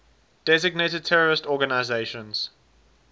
designated terrorist organizations